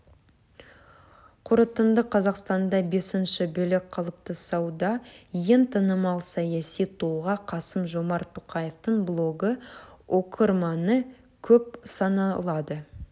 қорытынды қазақстанда бесінші билік қалыптасуда ең танымал саяси тұлға қасым-жомарт тоқаевтың блогы оқырманы көп саналады